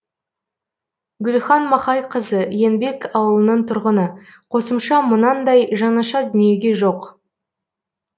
гүлхан махайқызы еңбек ауылының тұрғыны қосымша мынандай жаңаша дүниеге жоқ